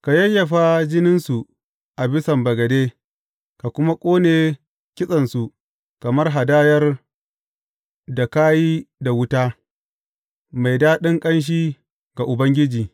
Ka yayyafa jininsu a bisan bagade, ka kuma ƙone kitsensu kamar hadayar da ka yi da wuta, mai daɗin ƙanshi ga Ubangiji.